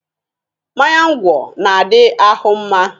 Mmanya ngwọ na-adi ahụ mma.